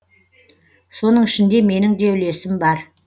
соның ішінде менің де үлесім бар